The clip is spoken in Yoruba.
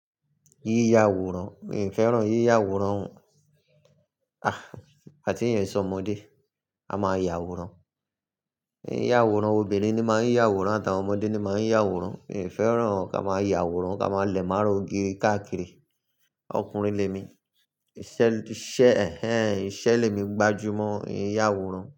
Yíya àwòrán, mi n fẹ́ràn yíya àwòrán o. Ìgbà tí èèyàn e ṣọmọdé, a máa yà àwòrán. Yíya àwòrán, obìnrin ni máa ń ya àwòrán àtàwọn ọmọdé ni máa ń ya àwòrán. Mi ò fẹ́ràn kí a máa yà àwòrán, kí a máa lẹ̀ mára ògiri káàkiri. Ọkùnrin lé mi. Iṣẹ́ ẹhẹ́n, iṣẹ́ lé mi gbájú mọ́, n e yàwòrán.